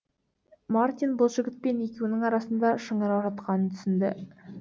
мартин бұл жігітпен екеуінің арасында шыңырау жатқанын түсінді